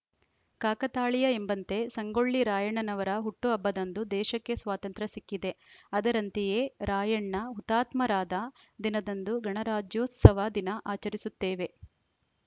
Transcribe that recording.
ಕಾಕತಾಳೀಯ ಎಂಬಂತೆ ಸಂಗೊಳ್ಳಿ ರಾಯಣ್ಣನವರ ಹುಟ್ಟುಹಬ್ಬದಂದು ದೇಶಕ್ಕೆ ಸ್ವಾತಂತ್ರ್ಯ ಸಿಕ್ಕಿದೆ ಅದರಂತೆಯೇ ರಾಯಣ್ಣ ಹುತಾತ್ಮರಾದ ದಿನದಂದು ಗಣರಾಜೋತ್ಸವ ದಿನ ಆಚರಿಸುತ್ತೇವೆ